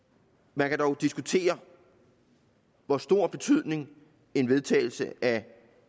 man kan dog diskutere hvor stor betydning en vedtagelse af